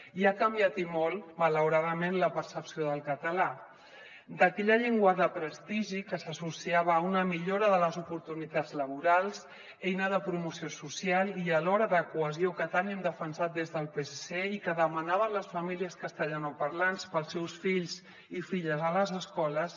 i ha canviat i molt malauradament la percepció del català d’aquella llengua de prestigi que s’associava a una millora de les oportunitats laborals eina de promoció social i alhora de cohesió que tant hem defensat des del psc i que demanaven les famílies castellanoparlants per als seus fills i filles a les escoles